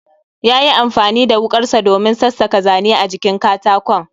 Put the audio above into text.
Yayi amfani da wukarsa domin sassaka Zane a jikin katakon